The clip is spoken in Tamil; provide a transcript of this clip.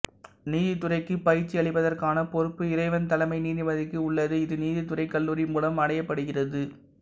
நீதித்துறைக்கு பயிற்சி அளிப்பதற்கான பொறுப்பு இறைவன் தலைமை நீதிபதிக்கு உள்ளது இது நீதித்துறை கல்லூரி மூலம் அடையப்படுகிறது